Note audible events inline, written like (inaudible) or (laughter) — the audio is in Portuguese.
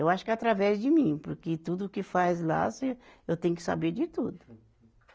Eu acho que através de mim, porque tudo que faz lá se eu tenho que saber de tudo. (laughs)